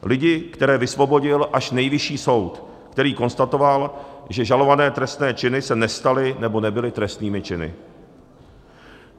Lidi, které vysvobodil až Nejvyšší soud, který konstatoval, že žalované trestné činy se nestaly nebo nebyly trestnými činy.